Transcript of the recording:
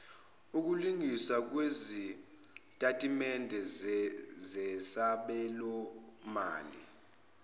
ukulungiswa kwezitatimende zesabelomali